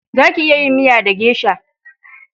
Za ki iya yin miya da gesha